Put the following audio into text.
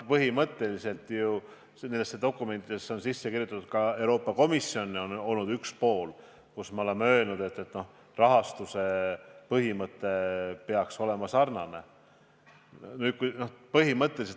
Põhimõtteliselt on dokumentidesse sisse kirjutatud – ka Euroopa Komisjon on olnud üks pool – ja me oleme seda ka öelnud, et rahastuse põhimõte peaks jääma sarnaseks.